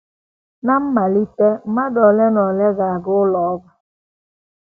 Ná mmalite mmadụ ole na ole ga - aga ụlọ ọgwụ.